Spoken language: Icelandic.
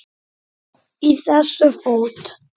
Í þessu fót